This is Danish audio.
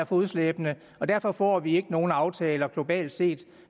fodslæbende og derfor får vi ikke nogen aftaler globalt set